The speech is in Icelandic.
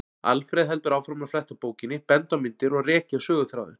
Alfreð heldur áfram að fletta bókinni, benda á myndir og rekja söguþráðinn.